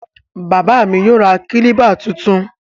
Bàbáà mi yóò ra kílíbà tuntun.